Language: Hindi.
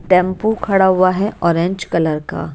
टेंपो खड़ा हुआ हैऑरेंज कलर का।